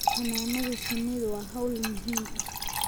Xannaanada shinnidu waa hawl muhiim ah